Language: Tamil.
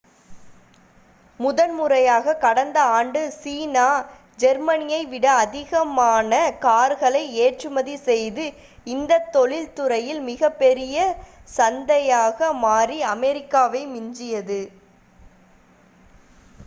முதன்முறையாக கடந்த ஆண்டு சீனா ஜெர்மனியை விட அதிகமான கார்களை ஏற்றுமதி செய்து இந்தத் தொழில்துறையின் மிகப்பெரிய சந்தையாக மாறி அமெரிக்காவை மிஞ்சியது